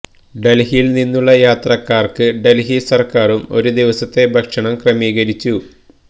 ഡൽഹിയിൽ നിന്നുള്ള യാത്രക്കാർക്ക് ഡൽഹി സർക്കാരും ഒരു ദിവസത്തെ ഭക്ഷണം ക്രമീകരിച്ചു